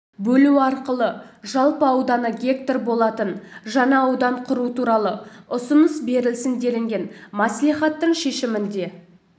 бөлу арқылы жалпы ауданы гектар болатын жаңа аудан құру туралы ұсыныс берілсін делінген маслихаттың шешімінде